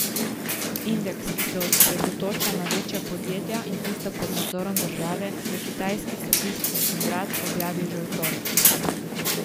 Indeks, ki se osredotoča na večja podjetja in tista pod nadzorom države, je kitajski statistični urad objavil že v torek.